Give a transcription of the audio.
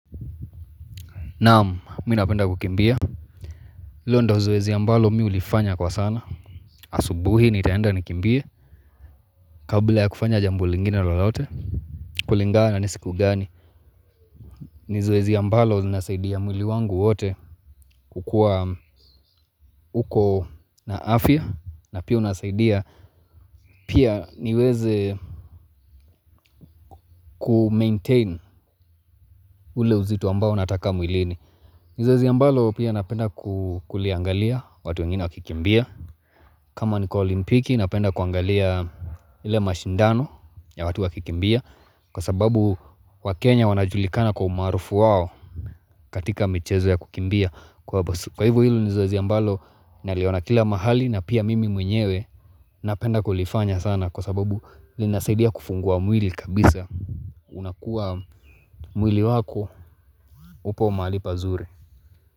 Naam mi napenda kukimbia hilo ndio zoezi ambalo mi hulifanya kwa sana asubuhi nitaenda nikimbie Kabla ya kufanya jambo lingine lolote kulingana na siku gani ni zoezi ambalo linasaidia mwili wangu wote kukua uko na afya na pia unasaidia Pia niweze kumaintain ule uzito ambao nataka mwilini ni zoezi ambalo pia napenda kuliangalia watu wengine wakikimbia kama niko olimpiki napenda kuangalia ile mashindano ya watu wakikimbia Kwa sababu wakenya wanajulikana kwa umaarufu wao katika michezo ya kukimbia Kwa hivo hilo ni zoezi ambalo Naliona kila mahali na pia mimi mwenyewe Napenda kulifanya sana Kwa sababu linasaidia kufungua mwili kabisa unakuwa mwili wako upo mahali pazuri.